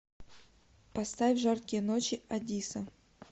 поставь жаркие ночи адисса